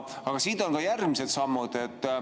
Aga siit on ka järgmised sammud.